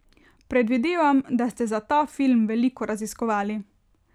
Predvidevam, da ste za ta film veliko raziskovali.